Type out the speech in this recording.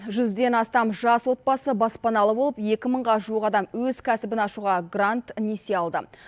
жүзден астам жас отбасы баспаналы болып екі мыңға жуық адам өз кәсібін ашуға грант несие алды